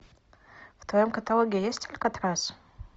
в твоем каталоге есть алькатрас